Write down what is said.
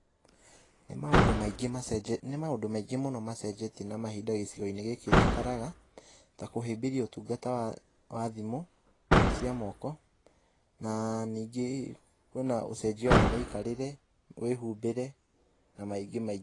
Nĩ maũndũ maingĩ, nĩ maũndũ maingĩ mũno macenjetie na mahinda gĩcigo-inĩ gĩkĩ njikaraga, ta kũhĩmbĩria ũtungata wa thimũ cia moko. Na ningĩ kwĩna ũcenjia wa mĩkiarĩre, mĩhumbĩre na maingĩ maingĩ.